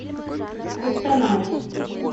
костанай